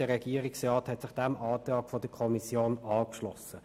Der Regierungsrat hat sich dem Antrag der Kommission angeschlossen.